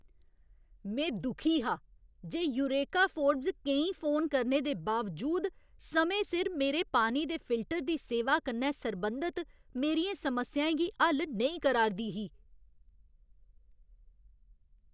में दुखी हा जे यूरेका फोर्ब्स केईं फोन करने दे बावजूद समें सिर मेरे पानी दे फिल्टर दी सेवा कन्नै सरबंधत मेरियें समस्याएं गी हल नेईं करा 'रदी ही।